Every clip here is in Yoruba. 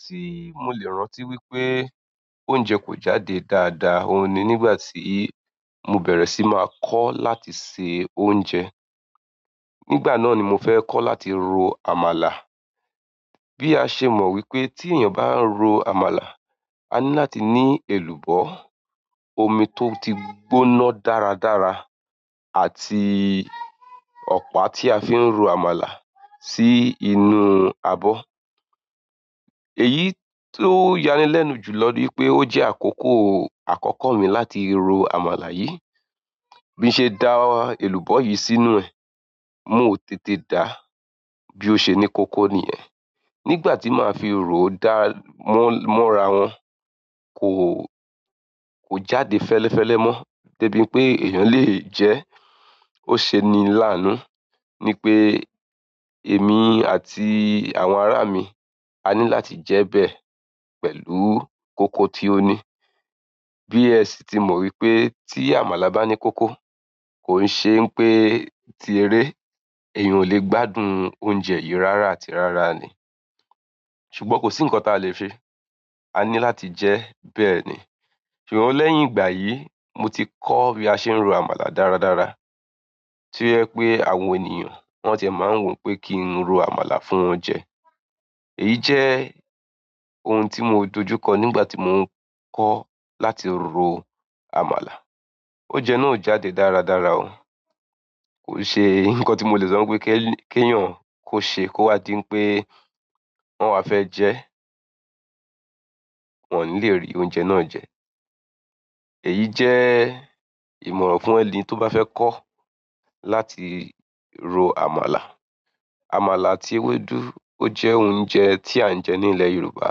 Tí mo lè rántí wípé oúnjẹ kò jáde dáadáa òun ni nígbà tí mo bẹ̀rẹ̀ sí máa kọ́ láti se oúnjẹ. Nígbà náà ni mo fẹ́ kọ́ láti ro àmàlà. Bí a ṣe mọ̀ wípé tí èèyàn bá ń ro àmàlà, a ní láti ní èlùbọ́, omi tó ti gbóná dáradára àti ọ̀pá tí a fi ń ro àmàlà sí inú abọ́. Èyí tó yanilẹ́nu jùlọ ní ipé ó jẹ́ àkókò àkọ́kọ́ mi láti ro àmàlà yìí. Bí n ṣe da èlùbọ́ yìí sínú ẹ̀, mó o tètè da a, bí ó ṣe ni kóko niyẹ̀n. Nígbà tí màá fi ro ó dá, mó mora wọ́n kò, kò jáde fẹ́lẹ́fẹ́lẹ́ mọ́ débi pé èèyàn lè jẹ́ e. Ó ṣeni làánú ní pé èmi àti àwọn ará mi a ní láti jẹ́ e bẹ́ẹ̀ pẹ̀lú kóko tí ó ní. Bí ẹ sì ti mọ̀ wípé tí àmàlà bá ní kóko, kò n ṣe ń pé tí eré, èèyàn ò lè gbádùn oúnjẹ yìí rárá àti rárá ni. Ṣùgbọ́n kò sí ǹkan ta lè se, a ní láti jẹ́ bẹ́ẹ̀ ni. Ṣùgbọ́n lẹ́yìn ìgbà yìí, mo ti kọ́ bí a ṣe ń ro àmàlà dáradára. To ye pé àwọn ènìyàn wọ́n tie máa ń wo o pé kí n ro àmàlà fún wọn jẹ. Èyí jẹ́ ohun tí mo dojú kọ nígbà tí mò ń kọ́ láti ro àmàlà. Ounjẹ̀ náà ò jáde dáradára o. Kò n ṣe ǹkan tí mo lè sọ pé, kí kèèyàn kó ṣe kó wá di ipé on máa fẹ́ jẹ ẹ́, wọ́n ò ní lè rí oúnjẹ náà jẹ. Èyí jẹ́ ìmọ̀ràn fún ẹni tó bá fẹ́ kọ́ láti ro àmàlà. Àmàlà àti ewédú ó jẹ́ oúnjẹ tí à ń jẹ ní ilẹ̀ Yorùbá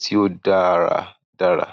tí ó dára dára.